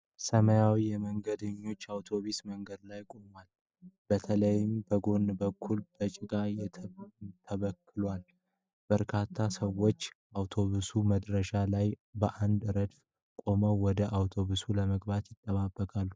ሰማያዊ የመንገደኞች አውቶብስ መንገድ ላይ ቆሟል። በተለይም ከጎን በኩል በጭቃ ተበክሏል ። በርካታ ሰዎች አውቶብሱ መድረሻ ላይ በአንድ ረድፍ ቆመው ወደ አውቶብሱ ለመግባት ይጠባበቃሉ።